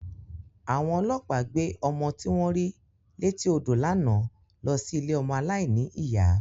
Àwọn ọlọ́pàá gbé ọmọ tí wọ́n rí létí odò lánàá lọ sí ilé ọmọ aláìní ìyá.